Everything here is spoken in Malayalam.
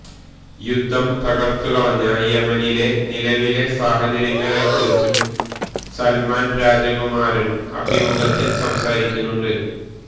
യുദ്ധം തകര്ത്തുകളഞ്ഞ യമനിലെ നിലവിലെ സാഹചര്യങ്ങളെ കുറിച്ചും സല്മാന് രാജകുമാരന് അഭിമുഖത്തില് സംസാരിക്കുന്നുണ്ട്